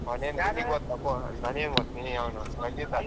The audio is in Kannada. ಅವ್ನೆನ್ ನೀನಿಗ್ ಗೊತ್ತಪ್ಪೋ ಅವ್ನದ್ ನಂಗೆ ಏನ್ ಗೊತ್ತು ನಿನ್ಗೆ ಅವನ್ ರಂಜಿತ್.